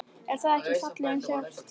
Er það ekki fallið um sjálft sig?